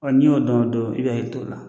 Ɔn n'i y'o dɔn o don, i b'i hakili to la.